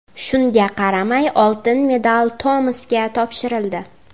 Shunga qaramay oltin medal Tomasga topshirildi.